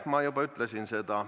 Ma juba ütlesin seda.